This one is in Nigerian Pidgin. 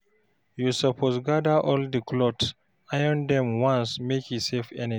You suppose gada all di clothes, iron dem once make e save energy.